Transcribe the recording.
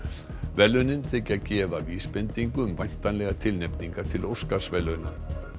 verðlaunin þykja gefa vísbendingu um væntanlegar tilnefningar til Óskarsverðlauna